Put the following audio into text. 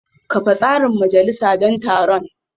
Kafa tsarin majalisa don taron